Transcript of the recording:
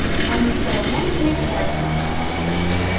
они всё равно не заметят разницы